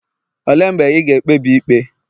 olee mgbe ị ga-ekpebi ikpe?